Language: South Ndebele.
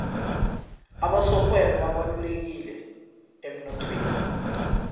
abasorhwebo babalulekileemnothweni